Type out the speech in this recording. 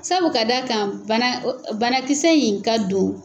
Sabu ka da kan bana banakisɛ in ka don.